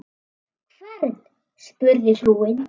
Hvern? spurði frúin.